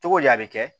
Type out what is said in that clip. Cogodi a bɛ kɛ